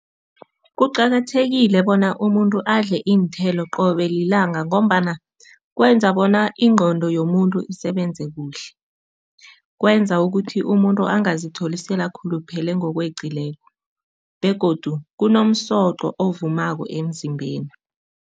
Kuqakathekile bona umuntu adle iinthelo qobe lilanga ngombana kwenza bona ingqondo yomuntu isebenze kuhle, kwenza ukuthi umuntu angazitholi sele akhuluphele ngokweqileko begodu kunomsoqo ovumako emzimbeni.